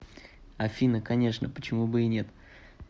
афина конечно почему бы и нет